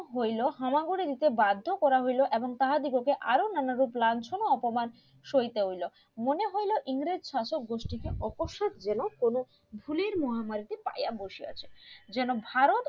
হইলো হামাগুড়ি দিতে বাধ্য করা হইলো এবং তাহাদিগকে দেখে আরো নানা রূপ লাঞ্ছনা অপমান সইতে হইলো মনে হইলো ইংরেজ শাসক গুষ্টিতে অপশ্যাত যেন কোনো খুলির মহামারিতে পাইয়া বসিয়াছে যেন ভারত,